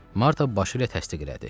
Marta başı ilə təsdiq elədi.